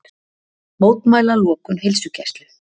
Mótmæla lokun heilsugæslu